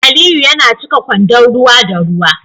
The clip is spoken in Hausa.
Aliyu yana cika kwandon ruwa da ruwa